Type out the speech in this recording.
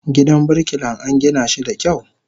Gidan birkilan angina shi da kyau.